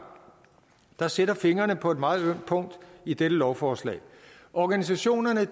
der sætter fingeren på et meget ømt punkt i dette lovforslag organisationerne